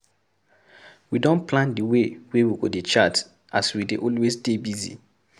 We don plan di dey wey we go dey chat as we dey always dey busy.